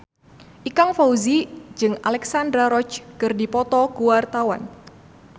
Ikang Fawzi jeung Alexandra Roach keur dipoto ku wartawan